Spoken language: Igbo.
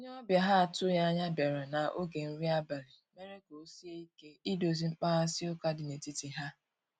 onye obia ha atughi anya biara na oge nri abali mere ka osie ike idozi mkpaghasi uka di na etiti ha.